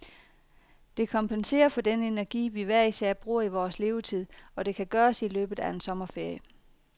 Det kompenserer for den energi, vi hver især bruger i vores levetid, og det kan gøres i løbet af en sommerferie.